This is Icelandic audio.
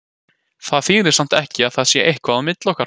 Það þýðir samt ekki að það sé eitthvað á milli okkar.